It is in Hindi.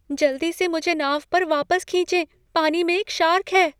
जल्दी से मुझे नाव पर वापस खींचें, पानी में एक शार्क है।